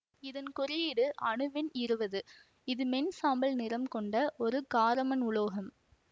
இதன் குறியீடு அணுவெண் இருபது இது மென் சாம்பல் நிறம் கொண்ட ஒரு காரமண் உலோகம்